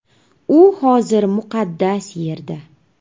U hozir muqaddas yerda.